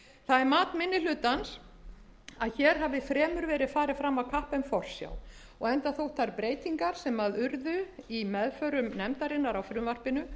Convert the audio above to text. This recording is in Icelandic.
það er mat minni hlutans að hér sé fremur farið fram af kappi en forsjá og enda þótt breytingar þær sem gerðar hafa verið á frumvarpinu